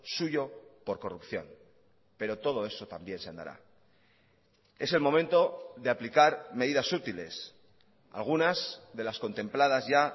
suyo por corrupción pero todo eso también se andará es el momento de aplicar medidas útiles algunas de las contempladas ya